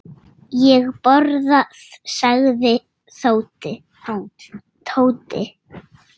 Ég borga, sagði Tóti.